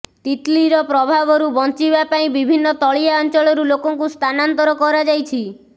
ତିତ୍ଲିର ପ୍ରଭାବରୁ ବଞ୍ଚିବା ପାଇଁ ବିଭିନ୍ନ ତଳିଆ ଅଞ୍ଚଳରୁ ଲୋକଙ୍କୁ ସ୍ଥାନାନ୍ତର କରାଯାଇଛି